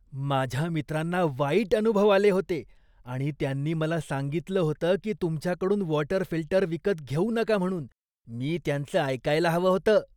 माझ्या मित्रांना वाईट अनुभव आले होते आणि त्यांनी मला सांगितलं होतं की तुमच्याकडून वॉटर फिल्टर विकत घेऊ नका म्हणून. मी त्यांचं ऐकायला हवं होतं.